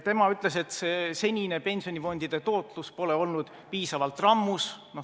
Tema ütles, et senine pensionifondide tootlus pole olnud piisavalt rammus.